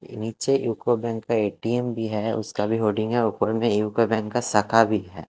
नीचे UCO bank का ATM भी है उसका भी होर्डिंग है ऊपर में शाखा भी है।